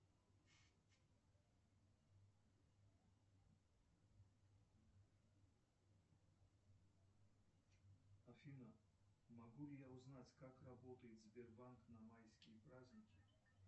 афина могу ли я узнать как работает сбербанк на майские праздники